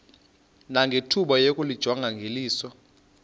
nangethuba lokuyijonga ngeliso